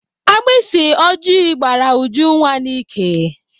Agbịsị oji gbara Ujunwa n'íkè